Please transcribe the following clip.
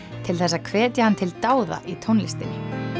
til þess að hvetja hann til dáða í tónlistinni